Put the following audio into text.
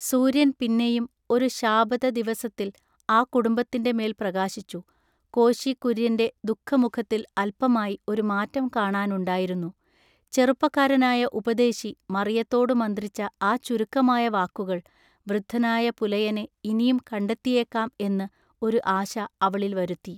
സൂര്യൻ പിന്നെയും ഒരു ശാബതദിവസത്തിൽ ആ കുടുംബത്തിന്‍റെ മേൽ പ്രകാശിച്ചു കോശികുര്യന്‍റെ ദു:ഖമുഖത്തിൽ അല്പമായി ഒരു മാറ്റം കാണാനുണ്ടായിരുന്നു ചെറുപ്പകാരനായ ഉപദേശി മറിയത്തോടു മന്ത്രിച്ച ആ ചുരുക്കമായ വാക്കുകൾ വൃദ്ധനായ പുലയനെ ഇനിയും കണ്ടെത്തിയേക്കാം എന്നു ഒരു ആശ അവളിൽ വരുത്തി.